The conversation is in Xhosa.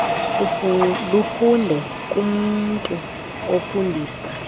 lufunde kumntu ofundisa